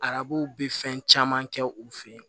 Arabu bɛ fɛn caman kɛ u fɛ yen